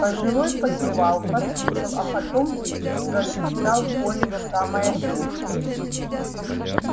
пожилой покивал послушал а потом зашептал коле в самое ухо